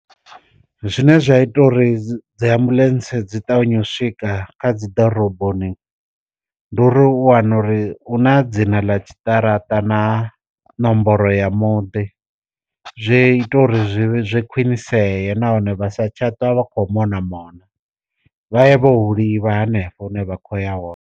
Zwine zwa ita uri dzi ambuḽentse dzi ṱavhanya u swika kha dzi ḓoroboni, ndi uri u wana uri una dzina ḽa tshiṱaratani na nomboro ya muḓi zwi ita uri khwinisea nahone vha sa tsha tou vha kho mona mona, vha ye vho hu livha hanefho hune vha khoya hone.